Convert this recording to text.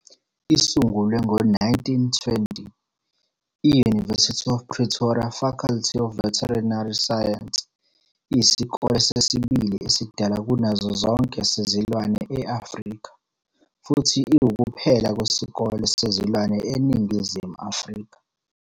Isungulwe ngo-1920, I-University of Pretoria Faculty of Veterinary Science iyisikole sesibili esidala kunazo zonke sezilwane e-Afrika futhi iwukuphela kwesikole sezilwane eNingizimu Afrika.